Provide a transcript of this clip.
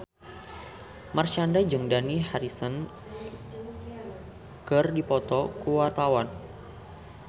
Marshanda jeung Dani Harrison keur dipoto ku wartawan